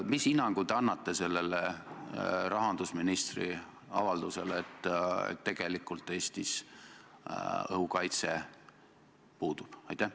Mis hinnangu te annate sellele rahandusministri avaldusele, et tegelikult Eestis õhukaitse puudub?